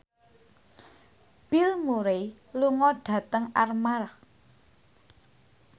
Bill Murray lunga dhateng Armargh